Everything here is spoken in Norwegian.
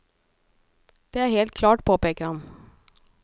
Det er helt klart, påpeker han.